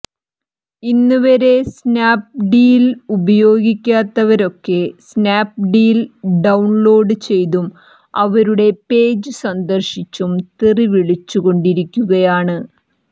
ഇന്നുവരെ സ്നാപ്ഡീല് ഉപയോഗിക്കാത്തവരൊക്കെ സ്നാപ്ഡീൽ ഡൌണ്ലോഡ് ചെയ്തും അവരുടെ പേജ് സന്ദര്ശിച്ചും തെറി വിളിച്ചുകൊണ്ടിരിക്കുകയാണ്